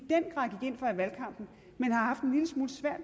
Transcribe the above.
valgkampen